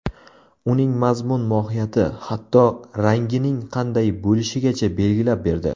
Uning mazmun-mohiyati, hatto, rangining qanday bo‘lishigacha belgilab berdi.